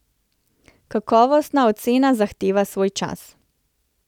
Kakovostna ocena zahteva svoj čas.